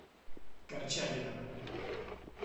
корчагиным